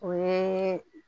O ye